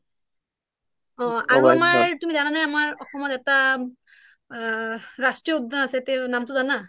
আৰু আমাৰ তুমি জানা নে আমাৰ অসমত ৰাষ্ট্ৰীয় উদ্যান আছে তুমি জানা